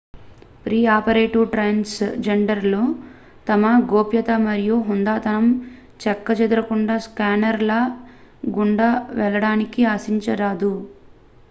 pre operative transgender లు తమ గోప్యత మరియు హుందాతనం చెక్కుచెదరకుండా స్కానర్ ల గుండా వెళ్లడాన్ని ఆశించరాదు